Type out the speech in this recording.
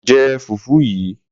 Jẹ fùfú yìí.